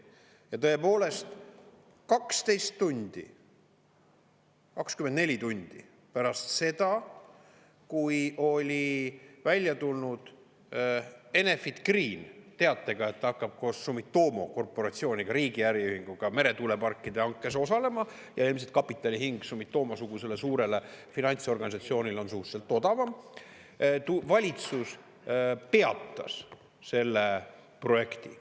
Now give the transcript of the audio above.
Ja tõepoolest, 12 tundi, 24 tundi pärast seda, kui oli välja tulnud Enefit Green teatega, et ta hakkab koos Sumitomo Corporationiga, riigi äriühinguga meretuuleparkide hankes osalema – ja ilmselt kapitali hind Sumitomo-sugusele suurele finantsorganisatsioonile on suhteliselt odavam –, kui valitsus peatas selle projekti.